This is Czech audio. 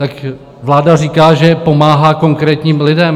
Tak vláda říká, že pomáhá konkrétním lidem.